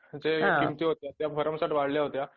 जे किंमती होत्या त्या भरमसाठ वडल्या होत्या